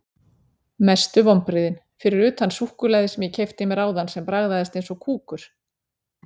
Mestu vonbrigðin: Fyrir utan súkkulaðið sem ég keypti mér áðan sem bragðaðist eins og kúkur.